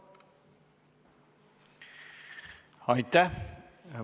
Aitäh!